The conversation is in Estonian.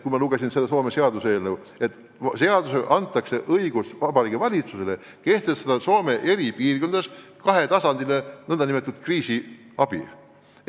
Ma lugesin Soome seaduseelnõu, mille kohaselt antakse valitsusele õigus kehtestada Soome eri piirkondades kahetasandiline nn kriisiabi.